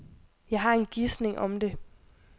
Jeg har en gisning om det.